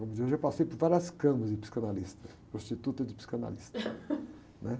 Vamos dizer, eu passei por várias camas de psicanalista, de prostituta e de psicanalista.